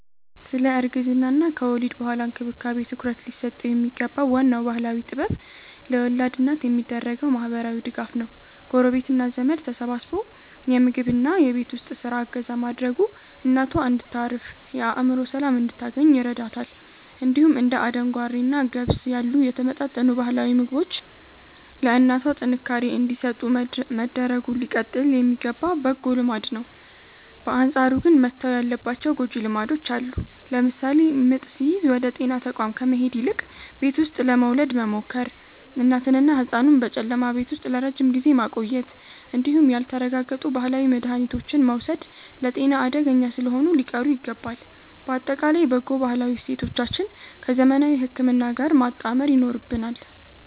ስለ እርግዝናና ከወሊድ በኋላ እንክብካቤ ትኩረት ሊሰጠው የሚገባው ዋናው ባህላዊ ጥበብ ለወላድ እናት የሚደረገው ማህበራዊ ድጋፍ ነው። ጎረቤትና ዘመድ ተሰባስቦ የምግብና የቤት ውስጥ ስራ እገዛ ማድረጉ እናቷ እንድታርፍና የአእምሮ ሰላም እንድታገኝ ይረዳታል። እንዲሁም እንደ አደንጓሬና ገብስ ያሉ የተመጣጠኑ ባህላዊ ምግቦች ለእናቷ ጥንካሬ እንዲሰጡ መደረጉ ሊቀጥል የሚገባ በጎ ልማድ ነው። በአንጻሩ ግን መተው ያለባቸው ጎጂ ልማዶች አሉ። ለምሳሌ ምጥ ሲይዝ ወደ ጤና ተቋም ከመሄድ ይልቅ ቤት ውስጥ ለመውለድ መሞከር፣ እናትንና ህጻኑን በጨለማ ቤት ውስጥ ለረጅም ጊዜ ማቆየት እንዲሁም ያልተረጋገጡ ባህላዊ መድሃኒቶችን መውሰድ ለጤና አደገኛ ስለሆኑ ሊቀሩ ይገባል። ባጠቃላይ በጎ ባህላዊ እሴቶቻችንን ከዘመናዊ ህክምና ጋር ማጣመር ይኖርብናል።